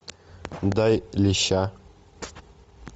дай леща